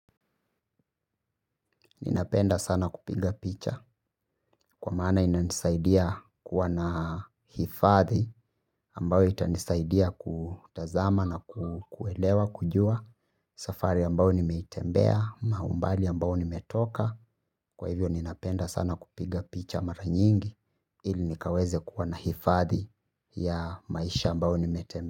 Ninapenda sana kupiga picha kwa maana inanisaidia kuwa na hifadhi ambayo itanisaidia kutazama na kuelewa kujua. Safari ambayo nimeitembea, ama umbali ambao nimetoka. Kwa hivyo ninapenda sana kupiga picha mara nyingi ili nikaweze kuwa na hifadhi ya maisha ambayo nimetembea.